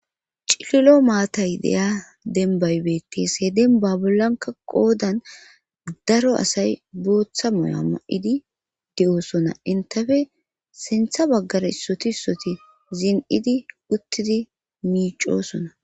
Cililo maatay deya denbaybeti seeden babilanka qoodan daro asay booththa moya ma7idi de7oosona intafe sintha baggara issoti issoti zin7idi uttidi miicosona.